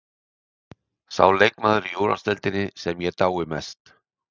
Sá leikmaður í úrvalsdeildinni sem ég dái mest?